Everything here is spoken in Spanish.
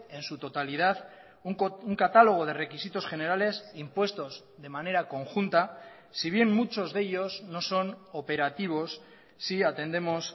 en su totalidad un catálogo de requisitos generales impuestos de manera conjunta si bien muchos de ellos no son operativos si atendemos